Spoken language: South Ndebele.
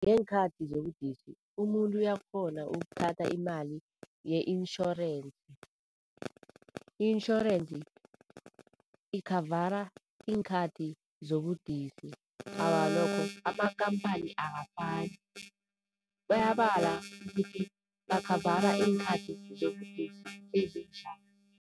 Ngeenkhathi zobudisi umuntu uyakghona ukuthatha imali ye-intjhorensi. I-intjhorensi ikhavara iinkhathi zobudisi. Awa, nokho amakampani akafani, bayabala ukuthi bakhavara iinkhathi zobudisi ezinjani.